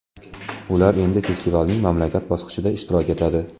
Ular endi festivalning mamlakat bosqichida ishtirok etadi.